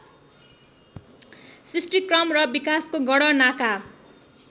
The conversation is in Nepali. सृष्टिक्रम र विकासको गणनाका